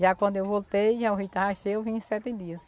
Já quando eu voltei, já o rio estava cheio, eu vim em sete dias.